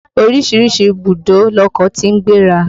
Oríṣiríṣi ìbùdó lọkọ̀ tí ń gbéra.